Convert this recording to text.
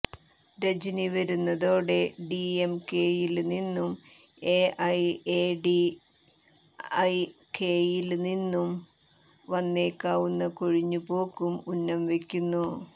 രജനി വരുന്നതോടെ ഡിഎംകെയില് നിന്നും എഐഎഡിഎംകെയില് നിന്നും വന്നേക്കാവുന്ന കൊഴിഞ്ഞുപോക്കും ഉന്നം വെയ്ക്കുന്നു